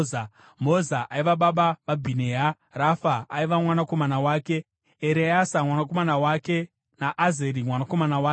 Moza aiva baba vaBhinea Rafa aiva mwanakomana wake, Ereasa mwanakomana wake naAzeri mwanakomana wake.